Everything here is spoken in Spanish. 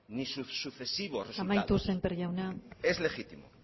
ni sus sucesivos resultados amaitu sémper jauna